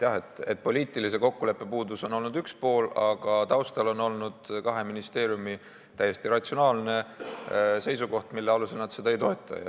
Jah, poliitilise kokkuleppe puudus on olnud üks pool, aga selle taustal on olnud kahe ministeeriumi täiesti ratsionaalne seisukoht, mille alusel nad seda ei toeta.